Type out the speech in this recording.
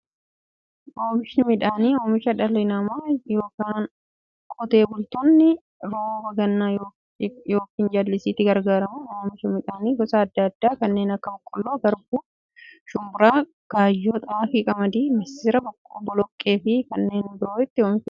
Oomishni midhaanii, oomisha dhalli namaa yookiin qotee bultoonni roba gannaa yookiin jallisiitti gargaaramuun oomisha midhaan gosa adda addaa kanneen akka; boqqolloo, garbuu, shumburaa, gaayyoo, xaafii, qamadii, misira, boloqqeefi kanneen biroo itti oomishamiidha.